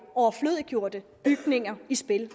overflødiggjorte bygninger i spil